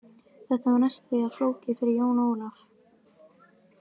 Þetta var næstum því of flókið fyrir Jón Ólaf.